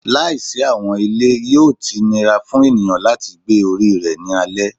Laisi awọn ile, yoo ti nira fun eniyan lati gbe ori rẹ ni alẹ